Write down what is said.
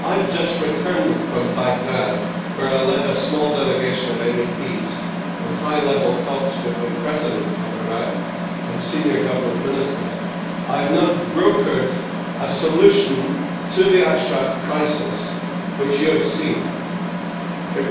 I have just returned from Baghdad, where I led a small delegation of MEPs in high level talks with the President of Iraq and senior government ministers. I have now brokered a solution to the Ashraf crisis, which you have seen, Baroness Ashton.